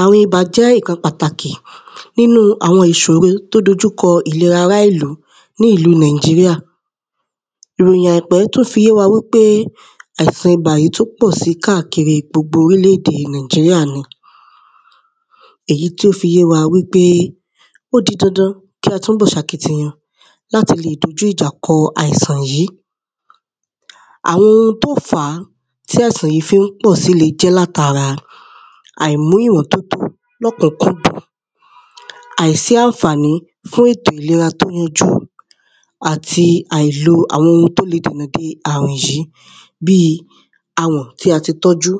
àrùn ibà jẹ́ ǹkan pàtàkì nínu àwọn ìsòro tí ó dojúkọ ìlera ará ìlú ní ìlû nàìjíríà ìròyìn àìpẹ́ tún fi yé wa wípé àìsàn ibà yí tún pọ̀ si kâkiri gbogbo orílèdè nàìjíríà ni, èyí tṹ fi yé wa wípé ó di dandan kí àtúnbọ̀ sakitiyan láti lè dojú ìjà kọ àìsàn yí àwọn oun tí ó n fàá, àìsàn yí fí n pọ̀ si lè jẹ́ láti ara, àìmú ìmọ́tótó lọ́kànjújù, àìsí ànfàní fún ètò ìlera tí ó yanjú àti àìlo àwọn oun tí ó le dìnà de àrùn yí, bíi awọ̀n tí a ti tọ́jú,,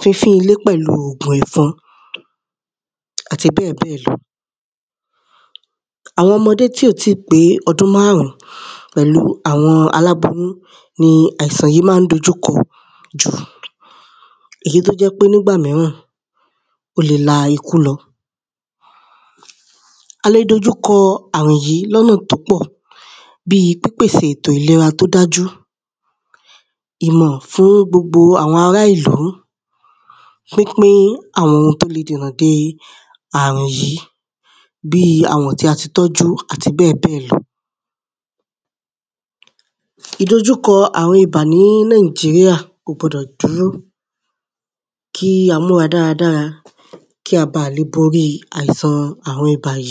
fínfín ilé pẹ̀lú ògùn ẹ̀fọn àti bẹ́ẹ̀bẹ́ẹ̀ lọ